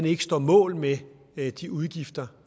ikke står mål med de udgifter